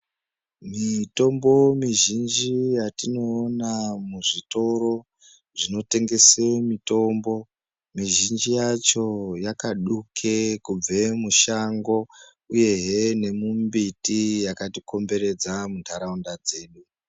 Mitombo mizhinji yatinoona muzvitoro zvinotengesa mitombo mizhinji yacho yakaduka kubve mushango uyehe nemumbiti yakatikomberedza munharaunda dzedu.